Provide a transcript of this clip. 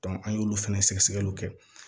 an y'olu fɛnɛ sɛgɛsɛgɛliw kɛ